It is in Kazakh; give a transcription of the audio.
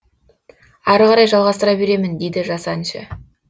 ары қарай жалғастыра беремін дейді жас әнші